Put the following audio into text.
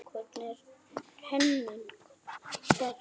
Hvernig er Henning Berg?